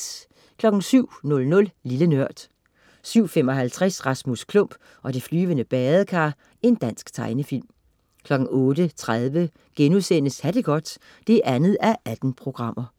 07.00 Lille Nørd 07.55 Rasmus Klump og det flyvende badekar. Dansk tegnefilm 08.30 Ha' det godt 2:18*